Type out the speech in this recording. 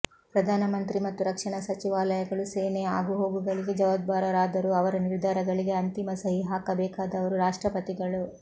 ಪ್ರಧಾನಮಂತ್ರಿ ಮತ್ತು ರಕ್ಷಣಾ ಸಚಿವಾಲಯಗಳು ಸೇನೆಯ ಆಗುಹೋಗುಗಳಿಗೆ ಜವಾಬ್ದಾರರಾದರೂ ಅವರ ನಿರ್ಧಾರಗಳಿಗೆ ಅಂತಿಮ ಸಹಿ ಹಾಕಬೇಕಾದವರು ರಾಷ್ಟ್ರಪತಿಗಳು